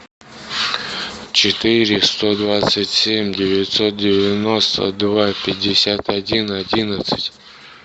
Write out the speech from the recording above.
четыре сто двадцать семь девятьсот девяносто два пятьдесят один одиннадцать